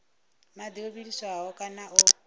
madi o vhiliswaho kana o